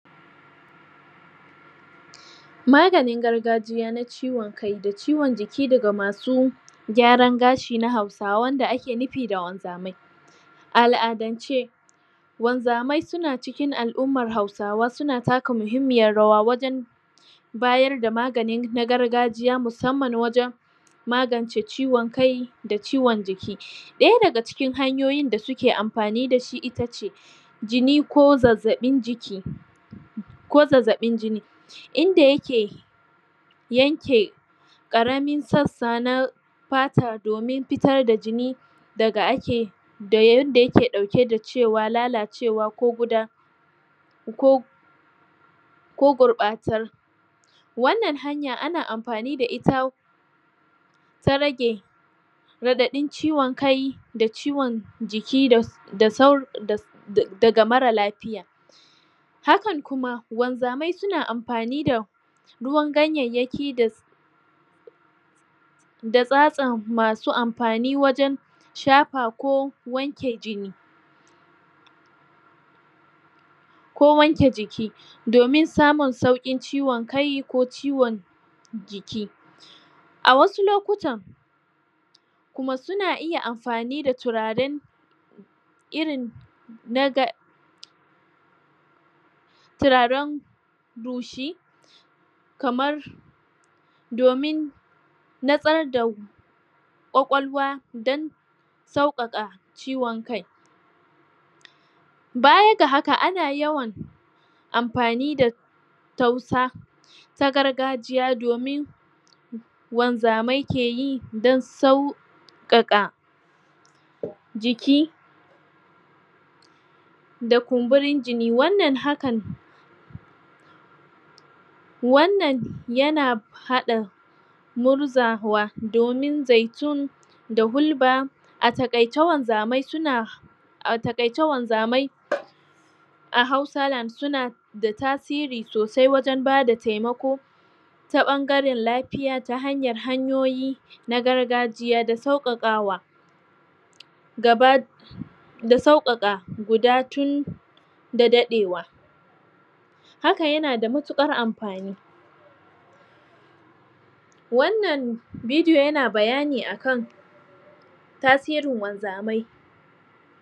Maganin gargajiya na ciwon kai da ciwon jiki daga masu gyaran gashi na Hausawa wanda ake nufi da wanzamai a al'adance wanzamai suna cikin al'ummar Hausawa suna taka muhimmiyar rawa bayar da magani na gargajiya musamman wajen magance ciwon kai da ciwon jiki, ɗaya daga cikin hanyoyin da suke amfani da shi ita ce jini ko zazzaɓin jiki ko zazzaɓin jini, in da yake yanke ƙaramin sassana fata domin fitar da jini da ake da yarin da yake ɗauke da cewa lalacewa ko guda ko ko gurɓatar wannan hanya ana amfani da ita ta rage raɗaɗin cikon kai da ciwon jiki da sauran daga marar lafiya hakan kuma wanzamai suna amfani da ruwan ganyayyki da sau da tsatsan masu amfani wajen shafa ko wanke jini ko wanke jiki domin samun sauƙin ciwon kai ko ciwon jiki a wasu lokun kuma suna iya amfani da turaren irin na garga turaren rushi kamar domin nutsar da ƙwaƙwalwa don sauƙaƙa ciwon kai baya ga haka ana ywan amfani da tausa ta gargajiya domin wanzamai keyi don sauƙaƙa jiki da kumburin jini. Wannan hakan wannan yana haɗin murzawa domin zaitun da hulba a taƙaice wanzamai suna a taƙaice wanzamai suna a Hausaland suna da tasiri sosai wajen ba da taimako taɓangaren lafiya ta hanyar hanyoyi na gargajiya da sauƙaƙawa gaba da sauƙaƙa guda tun da daɗewa haka yana da matuƙar amfani wannan bidiyon yana bayani a kan tasirin wanzamai.